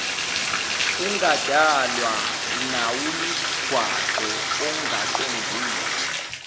kungadalwa nawumgwaqo ongaqondile